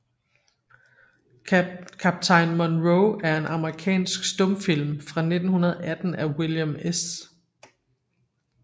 Kaptajn Monroe er en amerikansk stumfilm fra 1918 af William S